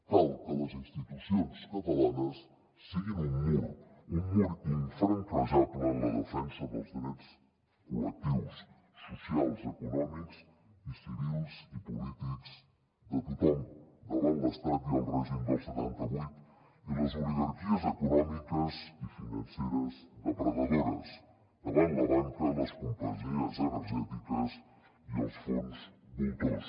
cal que les institucions catalanes siguin un mur un mur infranquejable en la defensa dels drets col·lectius socials econòmics civils i polítics de tothom davant l’estat i el règim del setanta vuit i les oligarquies econòmiques i financeres depredadores davant la banca les companyies energètiques i els fons voltors